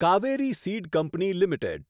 Kaveri seed company limited